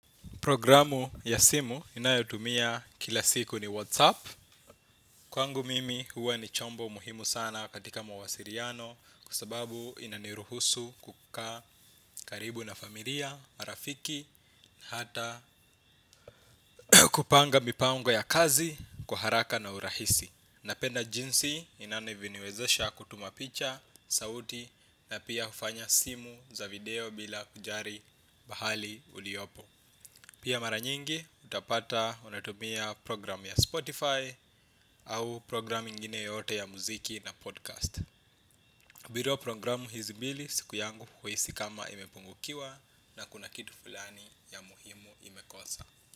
Programu ya simu ninayotumia kila siku ni WhatsApp. Kwangu mimi huwa ni chombo muhimu sana katika mawasiliano kwa sababu inaniruhusu kukaa karibu na familia, marafiki, hata kupanga mipango ya kazi kwa haraka na urahisi. Napenda jinsi inavyoniwezesha kutuma picha, sauti na pia hufanya simu za video bila kujali pahali uliopo. Pia mara nyingi utapata unatumia program ya Spotify au program ingine yoyote ya muziki na podcast. Bila programu hizi mbili siku yangu huhisi kama imepungukiwa na kuna kitu fulani ya muhimu imekosa.